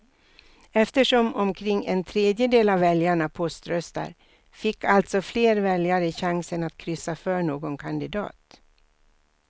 Eftersom omkring en tredjedel av väljarna poströstar fick alltså fler väljare chansen att kryssa för någon kandidat.